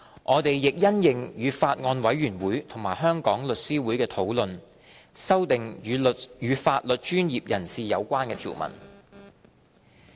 我們亦因應與法案委員會和香港律師會的討論，修訂與法律專業人士有關的條文。